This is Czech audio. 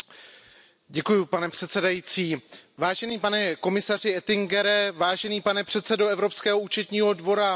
Pane předsedající, vážený pane komisaři Oettingere, vážený pane předsedo Evropského účetního dvora Lehne.